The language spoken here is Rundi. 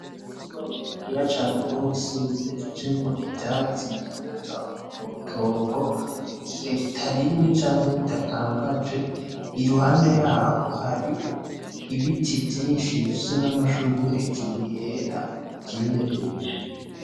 Mtuma munini ha cane bose wimejejemo ivyatsi vyimeza muutongo igihe ritarimye canke ridakangaje i ruhande yaho hari ibiti vyinshi bifise n'amashurwa hejuru yera vyimejeje.